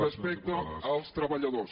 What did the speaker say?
respecte als treballadors